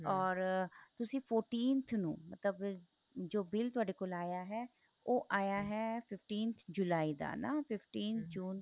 or ਤੁਸੀਂ fourteenth ਨੂੰ ਮਤਲਬ ਜੋ bill ਤੁਹਾਡੇ ਕੋਲ ਆਇਆ ਹੈ ਉਹ ਆਇਆ ਹੈ fifteen ਜੁਲਾਈ ਦਾ ਨਾ fifteen ਜੂਨ